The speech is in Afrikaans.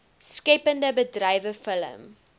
skeppende bedrywe film